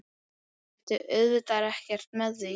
Ég meinti auðvitað ekkert með því.